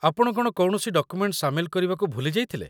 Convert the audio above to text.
ଆପଣ କ'ଣ କୌଣସି ଡକୁମେଣ୍ଟ ସାମିଲ କରିବାକୁ ଭୁଲି ଯାଇଥିଲେ ?